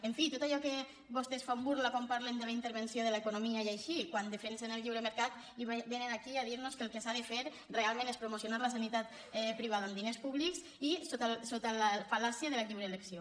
en fi tot allò de què vostès fan burla quan parlen de la intervenció de l’economia i així quan defensen el lliure mercat i vénen aquí a dir nos que el que s’ha de fer realment és promocionar la sanitat privada amb diners públics i sota la fal·làcia de la lliure elecció